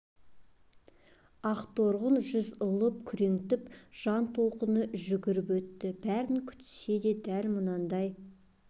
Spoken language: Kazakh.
ақ торғын жүз лып күреңтіп жан толқыны жүгіріп өтті бәрін күтсе де дәл мұндай